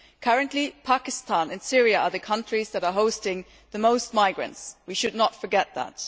Currently, Pakistan and Syria are the countries that are hosting the most migrants we should not forget that.